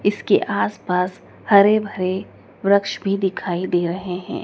इसके आस पास हरे भरे वृक्ष भी दिखाई दे रहे हैं।